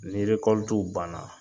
Ni banna.